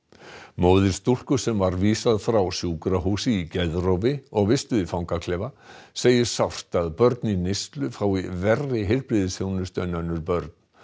móðir stúlku sem var vísað frá sjúkrahúsi í geðrofi og vistuð í fangaklefa segir sárt að börn í neyslu fái verri heilbrigðisþjónustu en önnur börn